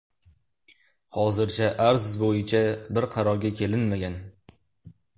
Hozircha arz bo‘yicha bir qarorga kelinmagan.